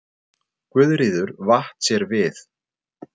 Guðríður vatt sér við.